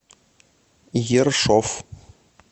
ершов